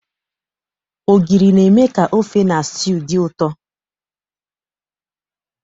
Ogiri na-eme ka ofe na stew dị ụtọ.